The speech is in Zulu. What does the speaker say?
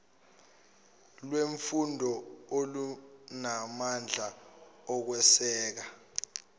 lwemfundo olunamandla okweseka